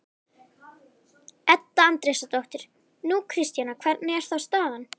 Edda Andrésdóttir: Nú, Kristjana, hvernig er þá staðan?